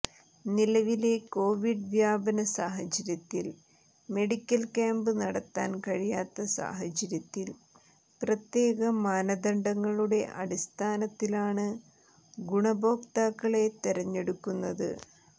നിലവിലെ കോവിഡ് വ്യാപന സാഹചര്യത്തിൽ മെഡിക്കൽ ക്യാമ്പ് നടത്താൻ കഴിയാത്ത സാഹച്യത്തിൽ പ്രത്യേക മാനദണ്ഡങ്ങളുടെ അടിസ്ഥാനത്തിലാണ് ഗുണഭോക്താക്കളെ തെരഞ്ഞെടുക്കുന്നത്